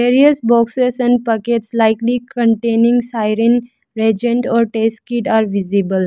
Various boxes and packets likely containing siren or test kid are visible.